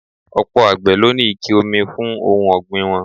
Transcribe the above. Ọ̀pọ̀ àgbè ló ní ike omi fún ohun ogbin wọn.